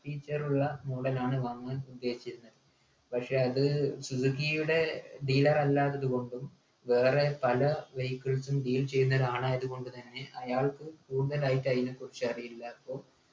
feature ഉള്ള model ആണ് വാങ്ങുവാൻ ഉദ്ദേശിച്ചിരുന്നത് പക്ഷെ അത് സുസുക്കിയുടെ dealer അല്ലാത്തത് കൊണ്ടും വേറെ പല vehicles ഉം deal ചെയ്യുന്നൊരാളായത് കൊണ്ട് തന്നെ അയാൾക്ക് കൂടുതലായിട്ട് അയിനെക്കുറിച്ചറിയില്ലാ പ്പോ